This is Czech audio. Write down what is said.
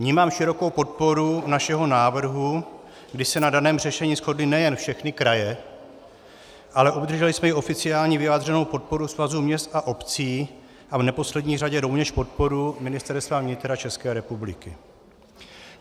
Vnímám širokou podporu našeho návrhu, kdy se na daném řešení shodly nejen všechny kraje, ale obdrželi jsme i oficiální vyjádření podpory Svazu měst a obcí a v neposlední řadě rovněž podporu Ministerstva vnitra České republiky.